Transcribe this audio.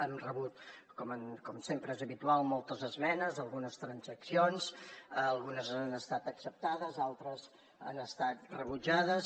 han rebut com sempre és habitual moltes esmenes algunes transaccions algunes han estat acceptades altres han estat rebutjades